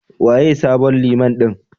Waye sabon Liman ɗin?